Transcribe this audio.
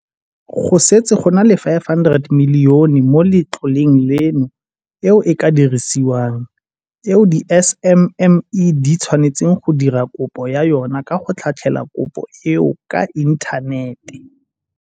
Go setse go na le go feta R500 milione mo letloleng leno eo e ka dirisiwang, eo di-SMME di tshwanetseng go dira kopo ya yona ka go tlhatlhela kopo eo ka inthanete.